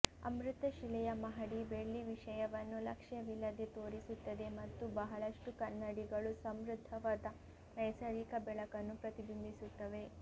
ಅಮೃತಶಿಲೆಯ ಮಹಡಿ ಬೆಳ್ಳಿ ವಿಷಯವನ್ನು ಲಕ್ಷ್ಯವಿಲ್ಲದೆ ತೋರಿಸುತ್ತದೆ ಮತ್ತು ಬಹಳಷ್ಟು ಕನ್ನಡಿಗಳು ಸಮೃದ್ಧವಾದ ನೈಸರ್ಗಿಕ ಬೆಳಕನ್ನು ಪ್ರತಿಬಿಂಬಿಸುತ್ತವೆ